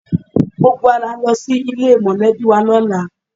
Gbogbo wa là ń lọ sí ilé mọ̀lẹ́bì wa lọ́la